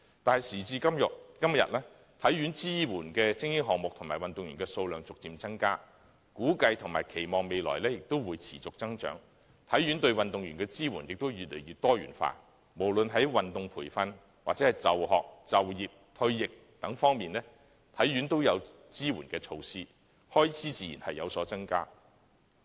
但是，時至今日，體院所支援的精英項目及運動員數目逐漸增加，估計及期望未來亦會持續增長，而體院對運動員的支援也越來越多元化，無論在運動培訓或就學、就業、退役等方面，體院均設有支援措施，開支自然有所增加。